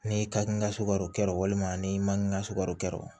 Ni ka n ka sukaro kɛ walima ni makini ka sukaro kɛ